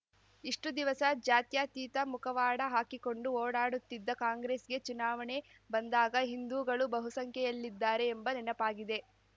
ಇಷ್ಟುದಿವಸ ಜಾತ್ಯತೀತ ಮುಖವಾಡ ಹಾಕಿಕೊಂಡು ಓಡಾಡುತ್ತಿದ್ದ ಕಾಂಗ್ರೆಸ್‌ಗೆ ಚುನಾವಣೆ ಬಂದಾಗ ಹಿಂದೂಗಳು ಬಹುಸಂಖ್ಯೆಯಲ್ಲಿದ್ದಾರೆ ಎಂಬ ನೆನಪಾಗಿದೆ